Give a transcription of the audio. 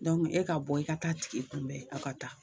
Dɔnku e ka bɔ i ka t'a tigi kunbɛn aw ka taa